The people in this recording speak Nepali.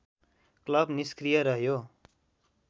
क्लब निस्क्रिय रह्यो